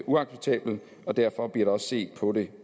uacceptabelt og derfor bliver set på det